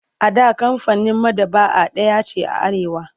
A da kamfanin maɗaba'a ɗaya ce a Arewa.